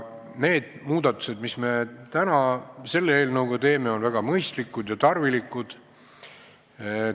Need muudatused, mis me täna selle eelnõuga teeme, on väga mõistlikud ja tarvilikud.